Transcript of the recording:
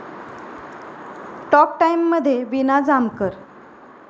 talk टाइम'मध्ये वीना जामकर